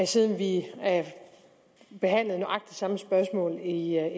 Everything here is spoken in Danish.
siden vi behandlede spørgsmålet i